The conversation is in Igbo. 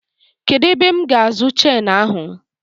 Kedụ ebe m ga-azụ chenu ahụ?